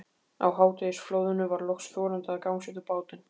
Á hádegisflóðinu var loks þorandi að gangsetja bátinn.